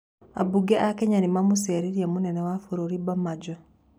Ambunge a Kenya nĩ mamũcereire mũnene wa bũrũri Bamanjo.